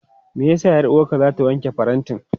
Me ya sa 'yar'uwarka za ta wanke farantin?